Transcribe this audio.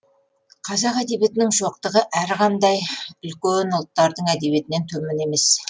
қазақ әдебиетінің шоқтығы әрқандай үлкен ұлттардың әдебиетінен төмен емес